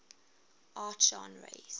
art genres